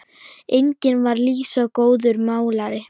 Einnig var Lísa góður málari.